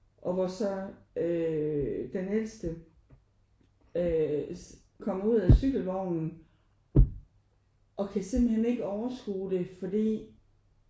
Og hvor så øh den ældste øh kommer ud af cykelvognen og kan simpelthen ikke overskue det fordi